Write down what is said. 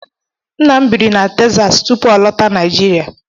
Nna m bịrị na Texas tupu ọ lọta Naijiria.